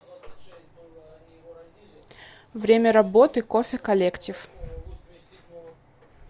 время работы кофе коллектив